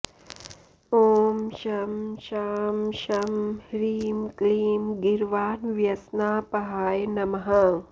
ॐ शं शां षं ह्रीं क्लीं गीर्वाणव्यसनापहाय नमः